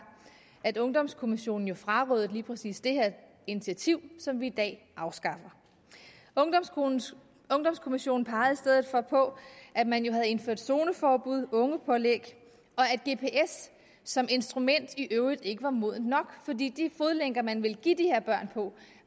at ungdomskommissionen jo frarådede lige præcis det her initiativ som vi i dag afskaffer ungdomskommissionen pegede i stedet for på at man jo havde indført zoneforbuddet ungepålæg og at gps som instrument i øvrigt ikke var modent nok fordi de fodlænker man ville give de her børn på